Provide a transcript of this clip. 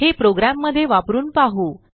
हे प्रोग्रॅममध्ये वापरून पाहू